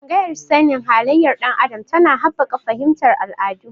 Tsangayar sani halayyar ɗan adam tana haɓaka fahimtar al'adu.